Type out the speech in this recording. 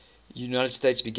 united states began